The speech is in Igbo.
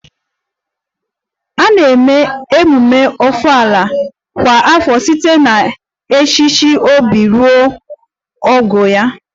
A na-eme emume Ofala kwa afọ site n'echichi obi ruo ọnwụ ya